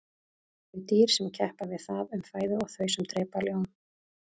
þau dýr sem keppa við það um fæðu og þau sem drepa ljón